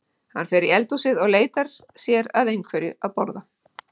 Hann fer í eldhúsið og leitar sér að einhverju að borða.